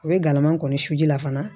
U bɛ galama kɔni su ji la fana